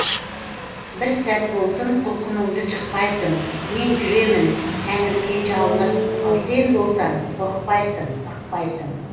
бір сәт болсын құлқыныңды жықпайсың мен жүремін тәңіріме жалынып ал сен болсаң қорықпайсың ықпайсың